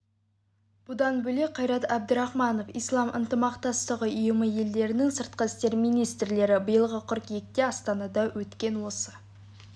бұдан бөлек қайрат әбдірахманов ислам ынтымақтастығы ұйымы елдерінің сыртқы істер министрлері биылғы қыркүйекте астанада өткен осы